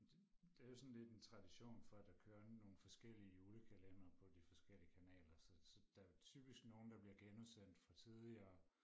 det det er jo sådan lidt en tradition for at der kører nogle forskellige julekalendere på de forskellige kanaler så så der er typisk nogle der bliver genudsendt fra tidligere